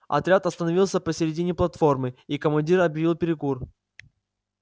отряд остановился посередине платформы и командир объявил перекур